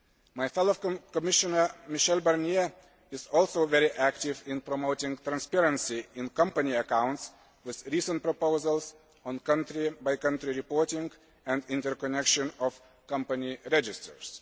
My fellow Commissioner Michel Barnier is also very active in promoting transparency in company accounts, with recent proposals on country by country reporting and interconnection of companies registers.